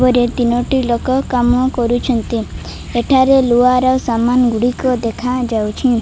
ଉପରେ ତିନୋଟି ଲୋକ କାମ କରୁଚନ୍ତି ଏଠାରେ ଲୁହାର ସାମାନ ଗୁଡ଼ିକ ଦେଖା ଯାଉଚି।